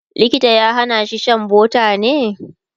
likita ya Hana shi Shan butter ne?